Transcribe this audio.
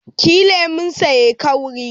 Ki yi kemon sa kauri